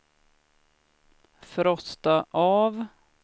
frosta av